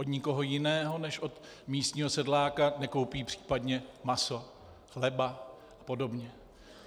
Od nikoho jiného než od místního sedláka nekoupí případně maso, chleba a podobně.